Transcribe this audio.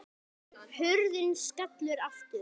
Hurðin skellur aftur.